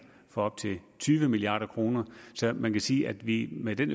for op til tyve milliard kroner så man kan sige at vi med den